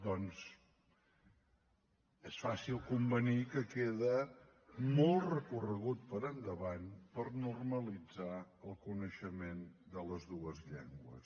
doncs és fàcil convenir que queda molt recorregut per endavant per normalitzar el coneixement de les dues llengües